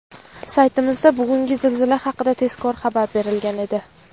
Saytimizda bugungi zilzila haqida tezkor xabar berilgan edi.